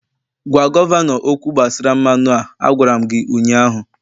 gwa gọvanọ okwu gbasara mmanụ a. Agwara m gi ụnyahụ!